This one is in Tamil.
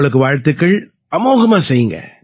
உங்களுக்கு வாழ்த்துக்கள் அமோகமா செய்யுங்க